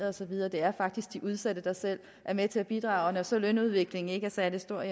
og så videre det er faktisk de udsatte der selv er med til at bidrage og når så lønudviklingen ikke er særlig stor